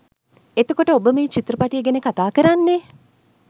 එතකොට ඔබ මේ චිත්‍රපටය ගැන කතා කරන්නේ